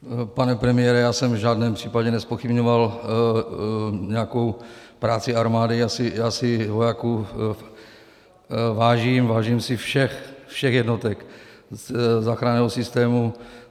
Pane premiére, já jsem v žádném případě nezpochybňoval nějakou práci armády, já si vojáků vážím, vážím si všech jednotek záchranného systému.